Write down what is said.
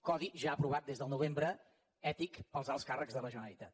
codi ja aprovat des del novembre ètic per als alts càrrecs de la generalitat